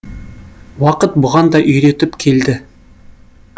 уақыт бұған да үйретіп келді